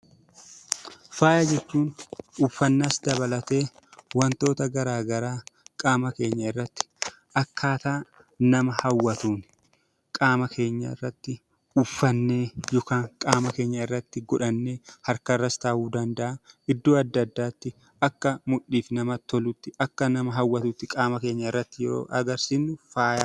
Faaya jechuun uffannaas dabalatee wantoota garaa garaa qaama keenya irratti akkaataa nama hawwatuun, qaama keenya irratti uffatnee yookaan qaama keenya irratti godhannee harkarras ta'uu danda'a, iddoo adda addaatti akka mudhiif namatti tolutti, akka nama hawwatutti qaama keenya irratti yoo agarsiisne faaya jenna.